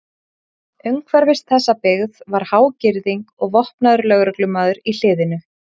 Umhverfis þessa byggð var há girðing og vopnaður lögreglumaður í hliðinu.